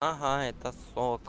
ага это сок